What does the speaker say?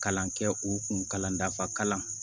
Kalan kɛ u kun kalan dafalan